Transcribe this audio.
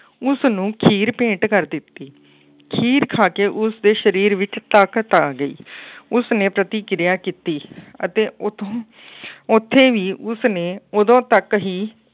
ਉਸਨੂੰ ਖੀਰ ਭੇਂਟ ਕਰ ਦਿੱਤੀ। ਖੀਰ ਖਾ ਕੇ ਉਸਦੇ ਸਰੀਰ ਵਿੱਚ ਤਾਕਤ ਆ ਗਈ। ਉਸਨੇ ਪ੍ਰਤੀਕਿਰਿਆ ਕੀਤੀ ਅਤੇ ਉੱਥੋਂ ਉੱਥੇ ਵੀ ਉਸਨੇ ਉਦੋਂ ਤੱਕ ਹੀ